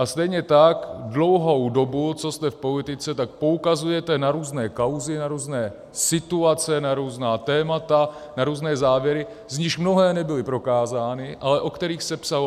A stejně tak dlouhou dobu, co jste v politice, tak poukazujete na různé kauzy, na různé situace, na různá témata, na různé závěry, z nichž mnohé nebyly prokázány, ale o kterých se psalo.